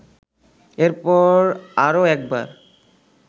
এরপর আরও একবার